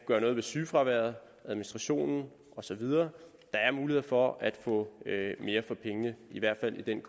gøre noget ved sygefraværet i administrationen og så videre der er muligheder for at få mere for pengene i hvert fald i den